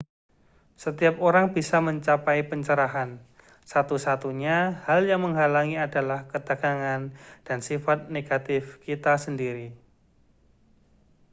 setiap orang bisa mencapai pencerahan satu-satunya hal yang menghalangi adalah ketegangan dan sifat negatif kita sendiri